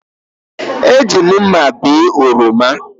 Eji m mma bee oroma